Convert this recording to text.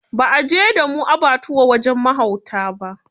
Ba a je da mu abbatuwa wajen mahauta ba.